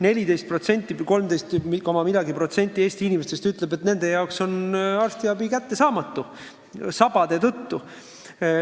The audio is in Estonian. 14% või 13 koma millegagi protsenti Eesti inimestest ütleb, et nende jaoks on arstiabi kättesaamatu sabade tõttu.